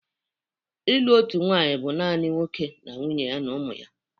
Ịlụ otu nwanyị bụ naanị nwoke na nwunye ya na ụmụ ya